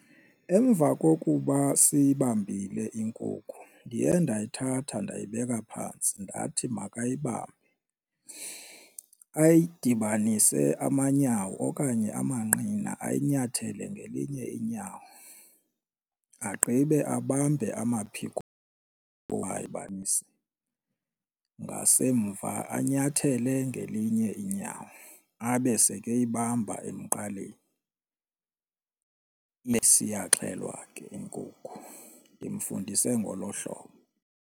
Emva kokuba siyibambile inkukhu ndiye ndayithatha ndayibeka phantsi ndathi makayibambe ayidibanise amanyawo okanye amanqina ayinyathele ngelinye inyawo agqibe abambe amaphiko ngasemva anyathele ngelinye inyawo. Abe seke eyibamba emqaleni iyaxhelwa ke inkukhu ndimfundise ngolo hlobo.